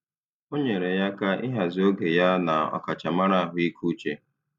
O nyeere ya aka ịhazi oge ya na ọkachamara ahụike uche.